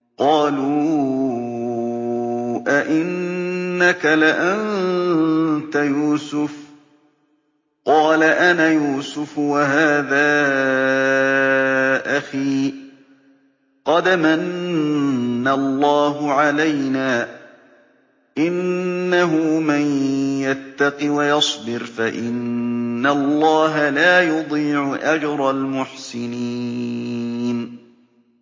قَالُوا أَإِنَّكَ لَأَنتَ يُوسُفُ ۖ قَالَ أَنَا يُوسُفُ وَهَٰذَا أَخِي ۖ قَدْ مَنَّ اللَّهُ عَلَيْنَا ۖ إِنَّهُ مَن يَتَّقِ وَيَصْبِرْ فَإِنَّ اللَّهَ لَا يُضِيعُ أَجْرَ الْمُحْسِنِينَ